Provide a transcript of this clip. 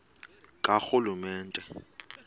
karhulumente